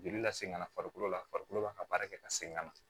Joli lasegɛn ka na farikolo la farikolo b'a ka baara kɛ ka segin ka na